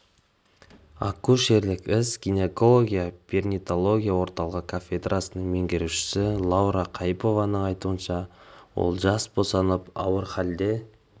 акушерлік іс гинекология перинатология орталығы кафедрасының меңгерушісі лаура қайыпованың айтуынша ол жас босанып ауыр халде